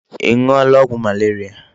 Ị ṅụọla ọgwụ malaria?